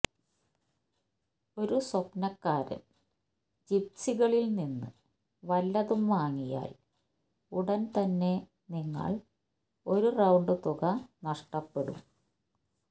ഒരു സ്വപ്നക്കാരൻ ജിപ്സികളിൽ നിന്ന് വല്ലതും വാങ്ങിയാൽ ഉടൻ തന്നെ നിങ്ങൾ ഒരു റൌണ്ട് തുക നഷ്ടപ്പെടും